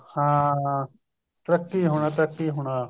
ਹਾਂ ਤਰੱਕੀ ਹੋਣਾ ਤਰੱਕੀ ਹੋਣਾ